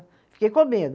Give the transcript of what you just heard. Fiquei com medo.